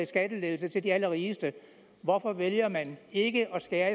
skattelettelser til de allerrigeste hvorfor vælger man ikke at skære